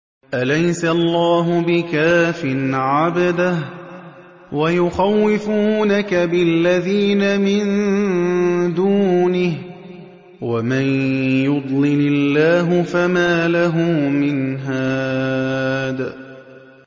أَلَيْسَ اللَّهُ بِكَافٍ عَبْدَهُ ۖ وَيُخَوِّفُونَكَ بِالَّذِينَ مِن دُونِهِ ۚ وَمَن يُضْلِلِ اللَّهُ فَمَا لَهُ مِنْ هَادٍ